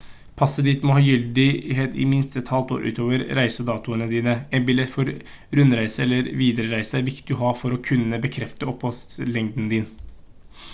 passet ditt må ha gyldighet i minst et halvt år utover reisedatoene dine en billett for rundreise eller viderereise er viktig å ha for å kunne bekrefte oppholdslengden din